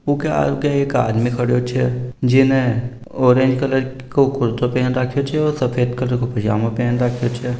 उके आगे एक आदमी खड़ो छे जेने ऑरेंज कलर को कुर्तो पेन राख्यो छे और सफ़ेद कलर को पजामा पेन राख्यो छे।